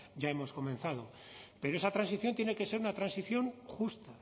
ya hemos comenzado pero esa transición tiene que ser una transición justa